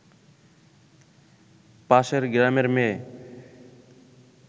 পাশের গ্রামের মেয়ে